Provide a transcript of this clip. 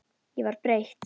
Ég var breytt.